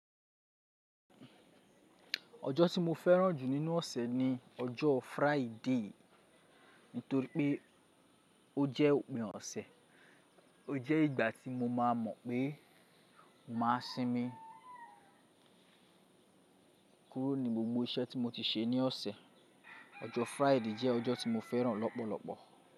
Ọjọ́ tí mo fẹ́ràn jù nínú ọ̀sẹ̀ ni ọjọ́ Friday, nítorí pé ó jẹ́ òpin ọ̀sẹ̀. Ó jẹ́ ìgbà tí mo má a mọ̀ pé màá sinmi kúrò ní gbogbo iṣẹ́ tí mo ti ṣe ní ọ̀sẹ̀. Ọjọ́ Friday jẹ́ ọjọ́ tí mo fẹ́ràn lọ́pọ̀lọpọ̀.